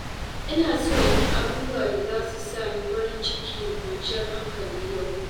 Ina so in yi abubuwa da za su sa ni farin ciki da kwanciyar hankali yau.